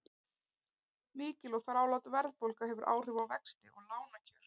Mikil og þrálát verðbólga hefur áhrif á vexti og lánakjör.